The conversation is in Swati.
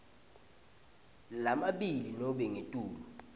lamabili nobe ngetulu